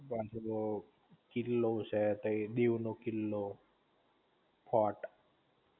ત્યાં પેલો કિલ્લો છે તઈ દીવ નો કિલ્લો ફોર્ટ